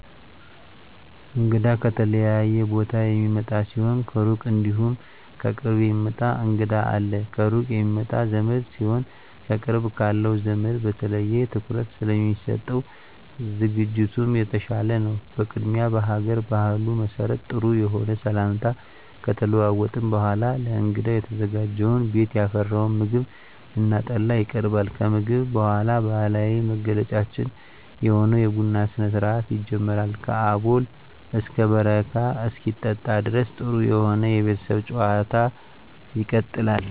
እንግዳ ከተለያየ ቦታ የሚመጣ ሲሆን ከሩቅ እንዲሁም ከቅርብ የሚመጣ እንግዳ አለ። ከሩቅ የሚመጣ ዘመድ ሲሆን ከቅርብ ካለው ዘመድ በተለየ ትኩረት ስለሚሰጠው ዝግጅቱም የተሻለ ነው። በቅድሚያ በሀገር ባህሉ መሰረት ጥሩ የሆነ ሰላምታ ከተለዋወጥን በኃላ ለእንግዳው የተዘጋጀውን ቤት ያፈራውን ምግብ እና ጠላ ይቀርባል። ከምግብ በኃላ ባህላዊ መገለጫችን የሆነውን የቡና ስነስርአት ይጀመራል ከአቦል እስከ በረካ እስኪጠጣ ድረስ ጥሩ የሆነ የቤተሰብ ጭዋታ ይቀጥላል።